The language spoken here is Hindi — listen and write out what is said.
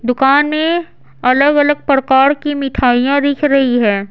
दुकान में अलग-अलग प्रकार की मिठाइयां दिख रही है।